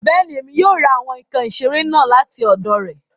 Bẹ́ẹ̀ni, Emi yóò ra awọn nkan isere naa lati ọdọ rẹ